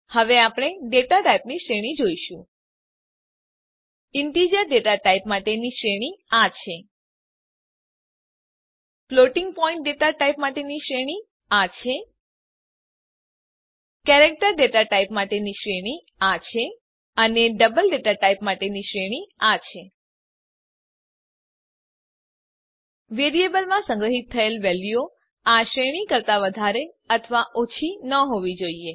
હવે આપણે ડેટા ટાઇપની શ્રેણી જોઈશું ઇન્ટિજર ડેટા ટાઇપ માટેની શ્રેણી આ છે 32768 થી 32767 ફ્લોટિંગ પોઇન્ટ ડેટા ટાઇપ માટેની શ્રેણી આ છે 34ઇ 38 કેરેક્ટર ડેટા ટાઇપ માટેની શ્રેણી આ છે 128 થી 127 અને ડબલ ડેટા ટાઇપ માટેની શ્રેણી આ છે 17ઇ 308 વેરીએબલમાં સંગ્રહીત થયેલ વેલ્યુઓ આ શ્રેણી કરતા વધારે અથવા ઓછી ન હોવી જોઈએ